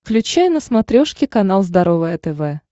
включай на смотрешке канал здоровое тв